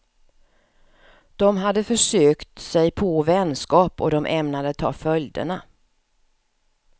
De hade försökt sig på vänskap, och de ämnade ta följderna.